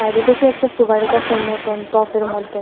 সাইডে দেখি একটা সুপারি গাছের মতন টফের মধ্যে।